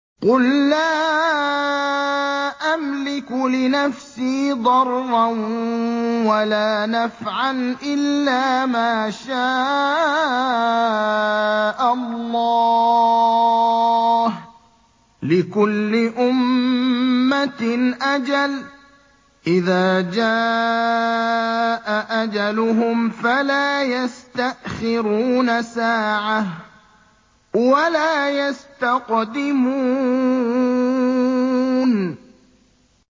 قُل لَّا أَمْلِكُ لِنَفْسِي ضَرًّا وَلَا نَفْعًا إِلَّا مَا شَاءَ اللَّهُ ۗ لِكُلِّ أُمَّةٍ أَجَلٌ ۚ إِذَا جَاءَ أَجَلُهُمْ فَلَا يَسْتَأْخِرُونَ سَاعَةً ۖ وَلَا يَسْتَقْدِمُونَ